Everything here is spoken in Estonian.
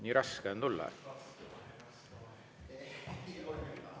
Nii raske on tulla?